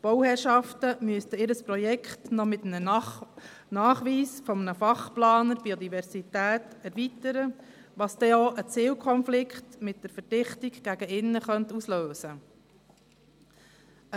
Die Bauherrschaften müssten ihr Projekt noch mit einem Nachweis eines Fachplaners Biodiversität erweitern, was dann auch einen Zielkonflikt mit der Verdichtung gegen innen auslösen könnte.